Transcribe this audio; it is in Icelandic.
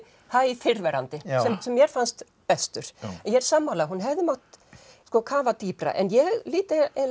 hæ fyrrverandi sem mér fannst bestur en ég er sammála hún hefði mátt kafa dýpra en ég lít á eiginlega